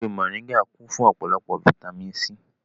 Ewé mòríngà kún fún ọ̀pọ̀lọpọ̀ fataímìn C.